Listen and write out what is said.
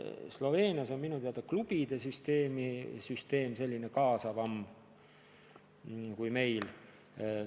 Sloveenias on minu teada klubide süsteem kaasavam kui meil.